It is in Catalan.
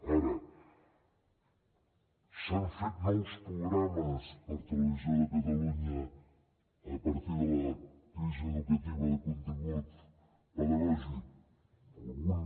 ara s’han fet nous programes per televisió de catalunya a partir de la crisi educativa de contingut pedagògic algun